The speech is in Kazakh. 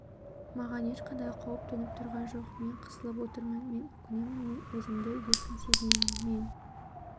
маған ешқандай қауіп төніп тұрған жоқ мен қысылып отырмын мен өкінемін мен өзімді еркін сезінемін мен